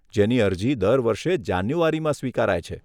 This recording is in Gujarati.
જેની અરજી દર વર્ષે જાન્યુઆરીમાં સ્વીકારાય છે.